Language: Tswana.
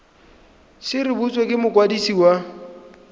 se rebotswe ke mokwadisi wa